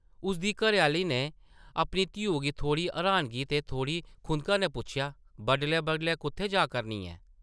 उसदी घरै-आह्ली नै अपनी धियु गी थोह्ड़ी राहनगी ते थोह्ड़ी खुंधका नै पुच्छेआ, ‘‘बडलै-बडलै कुʼत्थै जा करनी ऐं?’’